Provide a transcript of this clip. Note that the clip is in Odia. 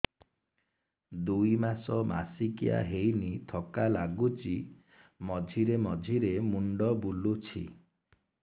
ଦୁଇ ମାସ ମାସିକିଆ ହେଇନି ଥକା ଲାଗୁଚି ମଝିରେ ମଝିରେ ମୁଣ୍ଡ ବୁଲୁଛି